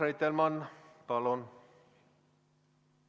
Urmas Reitelmann, palun!